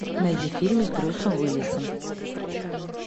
найди фильмы с брюсом уиллисом